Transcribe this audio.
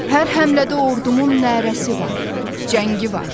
Hər həmlədə ordumun nərəsi var, cəngi var.